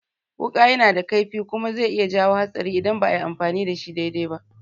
Wuƙa yana da kaifi kuma zai iya jawo hatsari idan ba ayi amfani da shi dai-dai ba